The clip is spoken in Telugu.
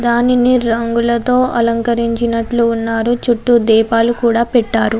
దానిని రంగులతో అలంకరించినట్లు ఉన్నారు. చుట్టూ దీపాలు కూడా పెట్టారు.